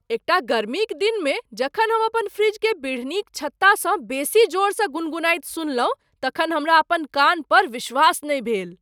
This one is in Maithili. एकटा गर्मीक दिनमे जखन हम अपन फ्रिजकेँ बिढ़नीक छत्तासँ बेसी जोरसँ गुनगुनाइत सुनलहुँ तखन हमरा अपन कान पर विश्वास नहि भेल।